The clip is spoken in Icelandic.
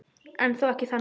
En þó ekki þannig.